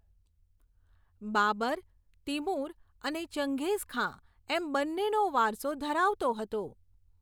Babur, Timur અને ચંગેઝખાં એમ બંનેનો વારસો ધરવતો હતો.